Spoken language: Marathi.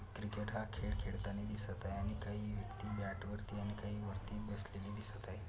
क्रिकेट हा खेल खेळतानी दिसत आहे आणि काही व्यक्ति मॅट वरती आणि काही वरती बसलेले दिसत आहे.